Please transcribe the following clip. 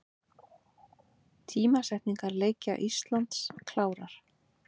Tímasetningar leikja Íslands klárar